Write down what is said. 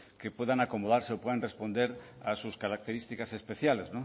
que puedan acomodarse o puedan responder a sus características especiales